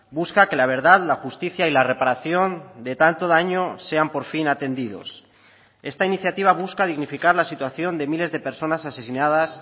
busca que la verdad la justicia y la reparación de tanto daño sean por fin atendidos esta iniciativa busca dignificar la situación de miles de personas asesinadas